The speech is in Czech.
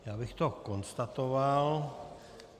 Já bych to konstatoval.